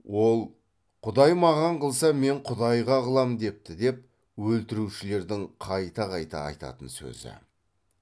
ол құдай маған қылса мен құдайға қылам депті деп өлтірушілердің қайта қайта айтатын сөзі